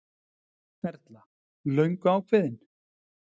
Erla: Löngu ákveðinn?